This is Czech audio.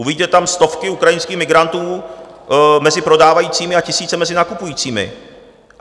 Uvidíte tam stovky ukrajinských migrantů mezi prodávajícími a tisíce mezi nakupujícími.